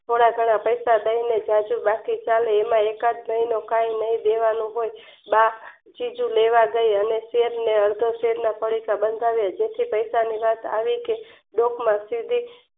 થોડા યજોડા પૈસા દયને આગુપાછું ચાલે એમાં એકાદ મહિનો કે નહિ દેવાનું બા ચીજું લેવા ગય અને અડધા તેલના પડીકા બંધાવ્યા તેથી પૈસા ની વાત આવી કે ડોકમાંથી